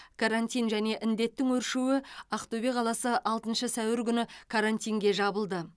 карантин және індеттің өршуі ақтөбе қаласы алтыншы сәуір күні карантинге жабылды